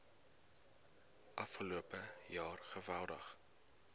afgelope jaar geweldig